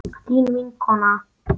Þín vinkona